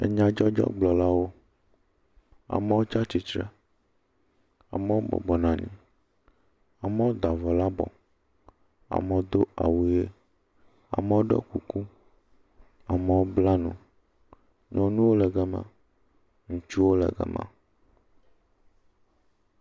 Nyadzɔdzɔgblɔlawo, amɔ tsa tsitsre, amɔ bɔbɔ nɔ anyi, amɔ da avɔ le abɔ, amɔ do awu ʋe, amɔ ɖɔ kuku, amɔ bla nu, nyɔnuwo le gama, ŋutsuwo le gama.